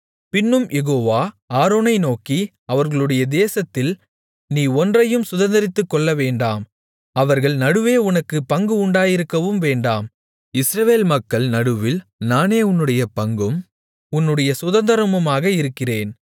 பின்னும் யெகோவா ஆரோனை நோக்கி அவர்களுடைய தேசத்தில் நீ ஒன்றையும் சுதந்தரித்துக்கொள்ளவேண்டாம் அவர்கள் நடுவே உனக்குப் பங்கு உண்டாயிருக்கவும் வேண்டாம் இஸ்ரவேல் மக்கள் நடுவில் நானே உன்னுடைய பங்கும் உன்னுடைய சுதந்தரமுமாக இருக்கிறேன்